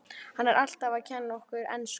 Hann er alltaf að kenna okkur ensku!